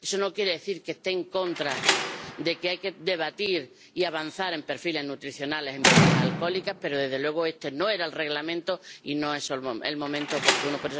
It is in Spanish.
Eso no quiere decir que esté en contra de que haya que debatir y avanzar en perfiles nutricionales en bebidas alcohólicas, pero, desde luego, este no era el reglamento y no es el momento oportuno.